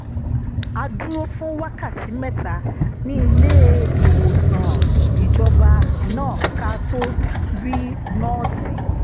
a dúró fún wákàtí mẹ́ta ní ilé-ìwòsàn ìjọba náà ká tó rí nọ́ọ̀sì